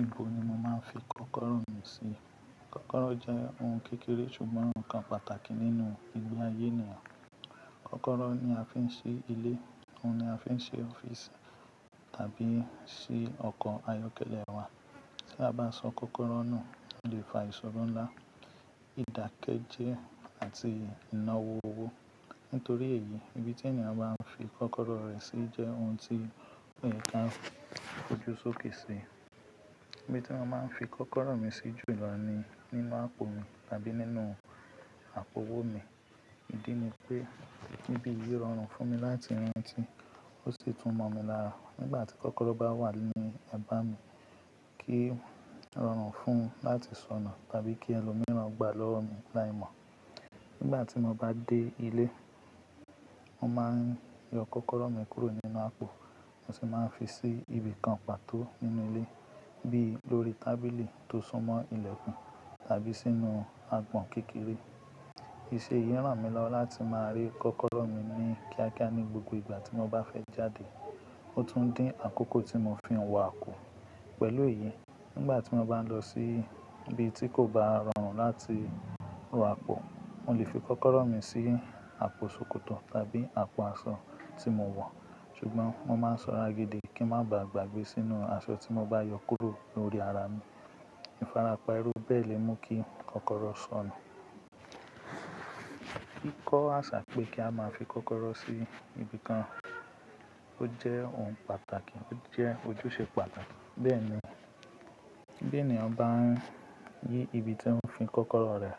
Ibo ni mò màá ń fi kọ́kọ́rọ́ mi sí? Kọ́kọ́rọ́ jẹ́ ohun kékeré ṣùgbọ́n nǹkan pàtàkì nínú ìní àyé ènìyàn. Kọ́kọ́rọ́ ni a fi ń ṣe ilé, òun ni a fi ń ṣe ọ́fíìsì tàbí ṣi ọkọ̀ ayọ́kẹ́lẹ́ wa. Tí a bá sọ kọ́kọ́rọ́ nù, ó lè fa ìṣòro ńlá, ìdàkejì àti ìnáwó owó. Nítorí èyí, ibi tí ènìyàn bá ń fi kọ́kọ́rọ́ rẹ̀ sí jẹ́ ohun tí kò yẹ ká kojú sókè sí. Ibi tí mo máa ń fi kọ́kọ́rọ́ mi sí jùlọ ni nínú àpò mi tàbí nínú àpò owó mi. Ìdí ni pé, ibi yìí rọrùn fún mi láti rántí, ó sì tún mọ̀ mi lára. Nígbà tí kọ́kọ́rọ́ bá wà ní ẹ̀ bá mi kí rọrùn fún láti sọnù tàbí kí ẹlòmíràn gbà lọ́wọ́ mi láìmọ̀. Nígbà tí mo bá dé ilé, mo máa ń yọ kọ́kọ́rọ́ mi kúrò nínú àpò, mo sì máa ń fi sí ibi kan pàtó nínú ilé bí lórí tábìlì tó súnmọ́ ilẹ̀kùn tàbí sínú agbọ̀n kékeré. Íṣe yìí ràn mí lọ́wọ́ láti máa rí kọ́kọ́rọ́ mi ní kíákíá ní gbogbo ìgbà tí mo bá fẹ́ jáde. Ó tún ń dín àkókò tí mo fi ń wọ àpò. Pẹ̀lú èyí, nígbà tí mo bá lọ sí ibi tí kò bá rọrùn láti ró àpò, mo lè fi kọ́kọ́rọ́ mi sí àpò sókótọ tàbí àpò aṣọ tí mo wọ̀. Ṣùgbọ́n mo máa ń sọra gidi kí ń má baà gbàgbé sínú aṣọ tí mo bá yọ kúrò lórí ara mi. Ìfarapa irú bẹ́ẹ̀ lè mú kí kọ́kọ́rọ́ sọnù. Kíkọ́ àṣà pé kí a máa fi kọ́kọ́rọ́ sí ibi kan ó jẹ́ ohun pàtàkì, ó jẹ́ ojúṣe pàtàkì. Bẹ́ẹ̀ ni, bí ènìyàn bá ń yí ibi tí ó fi kọ́kọ́rọ́ rẹ̀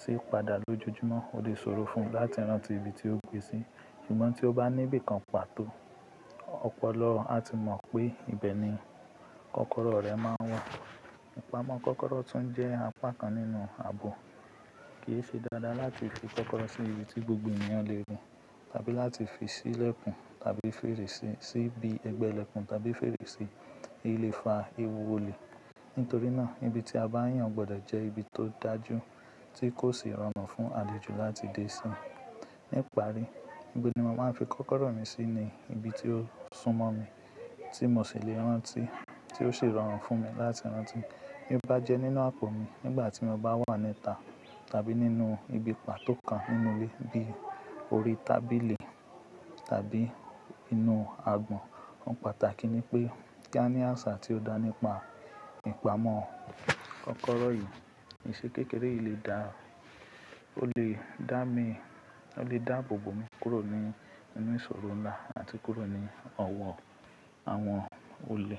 sí padà lójoojúmọ́, ó lè ṣòro fún un láti rántí ibi tí ó gbé e sí. Ṣùgbọ́n tí ó bá ní ibi kan pàtó, ọ̀pọ̀lọpọ̀ á ti mọ̀ pé ibẹ̀ ni kọ́kọ́rọ́ rẹ̀ máa ń wà. Ìpamọ́ kọ́kọ́rọ́ tún jẹ́ apá kan nínú ààbò. Kì í ṣe dáadáa láti fi kọ́kọ́rọ́ sí ibi tí gbogbo ènìyàn lè rí tàbí láti fi sí ilẹ̀kùn tàbí fèrèsé, síbi ẹgbẹ́ ilẹ̀kùn tàbí fèrèsé, eyí le fa ewu olè. Nítorí náà, ibi tí a bá yàn gbọdọ̀ jẹ́ ibi tó dájú tí kò sì rọrùn fún alẹ́jù láti dé sí. Ní ìparí, ibi tí mo máa ń fi kọ́kọ́rọ́ mi sí ni ibi tí ó súnmọ́ mi, tí mò ṣì lè rántí, tí ó sì rọrùn fún mi láti rántí. Bí m bá jẹ́ nínú àpò mi nígbà tí mo bá wà níta tàbí nínú ibi pàtó kan nínú ilé bí orí tábìlì tàbí inú agbọ̀n. Ohun pàtàkì ni pé kí a ní àṣà tí ó dá nípa ìpamọ́ kọ́kọ́rọ́ yìí. Ìṣe kékeré yìí lè dá, ó lè dá mi, ó lè dá bó bo mi kúrò ní inú ìṣòro ńlá àti kúrò ní ọ̀wọ́ àwọn olè.